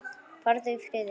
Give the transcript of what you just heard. Farðu í friði.